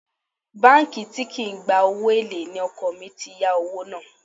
Báńkì tí kì í gba owó èlé ni ọkọ̀ mi ti yá owó náà